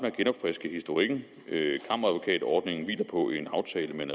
at genopfriske historikken kammeradvokatordningen hviler på en aftale med en